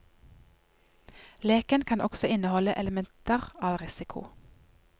Leken kan også inneholde elementer av risiko.